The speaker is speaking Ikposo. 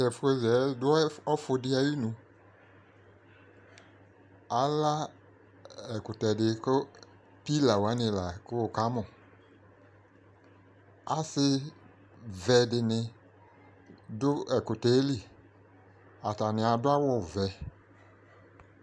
t'ɛfu za yɛ do ɔfu di ayinu ala ɛkutɛ di kò pila wani lako wokamò ase vɛ dini do ɛkutɛ li atani ado awu vɛ